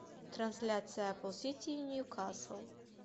трансляция апл сити и ньюкасл